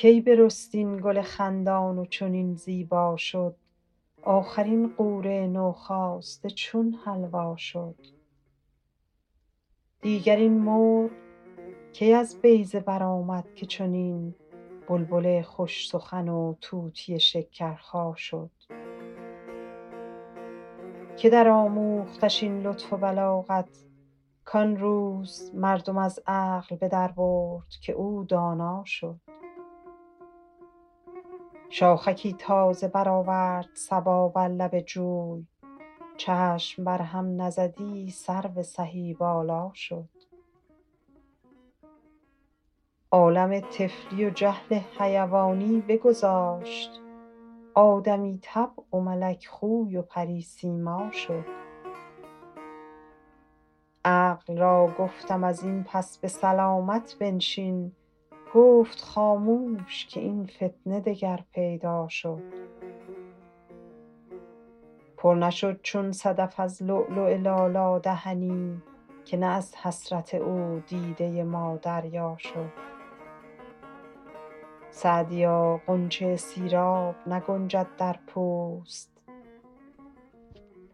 کی برست این گل خندان و چنین زیبا شد آخر این غوره نوخاسته چون حلوا شد دیگر این مرغ کی از بیضه برآمد که چنین بلبل خوش سخن و طوطی شکرخا شد که درآموختش این لطف و بلاغت کان روز مردم از عقل به دربرد که او دانا شد شاخکی تازه برآورد صبا بر لب جوی چشم بر هم نزدی سرو سهی بالا شد عالم طفلی و جهل حیوانی بگذاشت آدمی طبع و ملک خوی و پری سیما شد عقل را گفتم از این پس به سلامت بنشین گفت خاموش که این فتنه دگر پیدا شد پر نشد چون صدف از لؤلؤ لالا دهنی که نه از حسرت او دیده ما دریا شد سعدیا غنچه سیراب نگنجد در پوست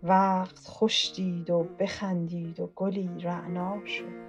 وقت خوش دید و بخندید و گلی رعنا شد